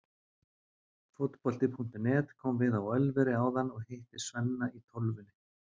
Fótbolti.net kom við á Ölveri áðan og hitti Svenna í Tólfunni.